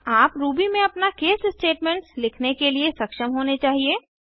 आप रूबी में अपना case स्टेटमेंट्स लिखने के लिए सक्षम होने चाहिए